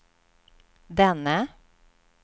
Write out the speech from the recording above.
denne